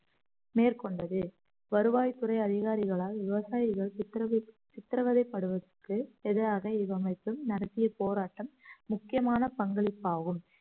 மேற்கொண்டது வருவாய்த்துறை அதிகாரிகளால் விவசாயிகள் சித்தரவு~ சித்திரவதை படுவதற்கு எதிராக இவ்வமைப்பு நடத்திய போராட்டம் முக்கியமான பங்களிப்பாகும்